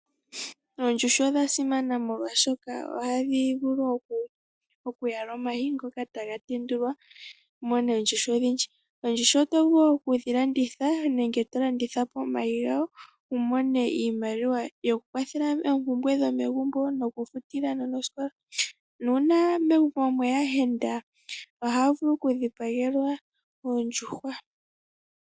Oondjuhwa odha simana molwaashoka ohadhi vulu okuvala omayi, ngoka taga tendulwa, umone ondjuhwa odhindji. Oondjuhwa oto vulu wo okudhi landitha nenge tolanditha po omayi gawo, wu mone iimaliwa yoku kwathela oompumbwe dhomegumbo, noku futila aanona osikola. Nuuna megumbo mweya aayenda ohaa vulu oku dhipagelwa oondjuhwa.